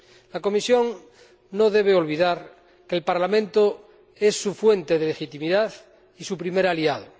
La Comisión no debe olvidar que el Parlamento es su fuente de legitimidad y su primer aliado.